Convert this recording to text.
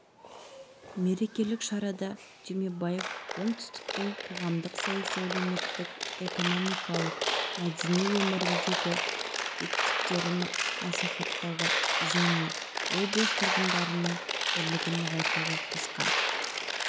мерекелік шарада түймебаев оңтүстіктің қоғамдық-саяси әлеуметтік-экономикалық мәдени өміріндегі жетістіктерін насихаттауға және облыс тұрғындарының бірлігін нығайтуға қосқан